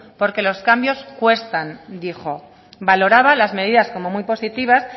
porque los cambios cuestan dijo valoraba las medidas como muy positivas